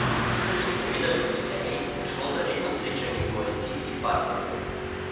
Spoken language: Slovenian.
Kot so povedali po seji, je šlo za redno srečanje koalicijskih partnerjev.